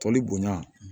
Tɔli bonya